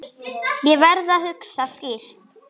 Ég verð að hugsa skýrt.